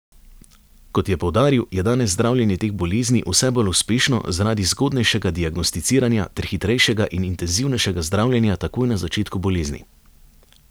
Kot je poudaril, je danes zdravljenje teh bolezni vse bolj uspešno zaradi zgodnejšega diagnosticiranja ter hitrejšega in intenzivnejšega zdravljenja takoj na začetku bolezni.